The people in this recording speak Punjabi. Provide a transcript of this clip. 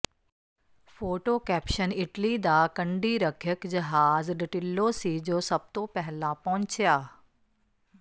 ਫੋਟੋ ਕੈਪਸ਼ਨ ਇਟਲੀ ਦਾ ਕੰਢੀ ਰੱਖਿਅਕ ਜਹਾਜ਼ ਡਟਿੱਲੋ ਸੀ ਜੋ ਸਭ ਤੋਂ ਪਹਿਲਾਂ ਪਹੁੰਚਿਆ